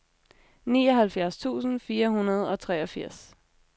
nioghalvfjerds tusind fire hundrede og treogfirs